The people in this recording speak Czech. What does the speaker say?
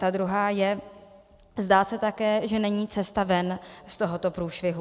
Ta druhá je, zdá se také, že není cesta ven z tohoto průšvihu.